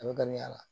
A bɛ gan